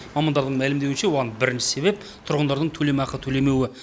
мамандардың мәлімдеуінше оған бірінші себеп тұрғындардың төлемақы төлемеуі